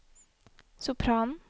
sopranen